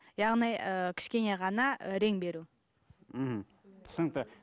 яғни ы кішкене ғана рең беру мхм түсінікті